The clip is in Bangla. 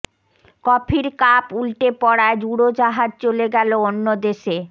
কফির কাপ উল্টে পড়ায় উড়োজাহাজ চলে গেল অন্য দেশে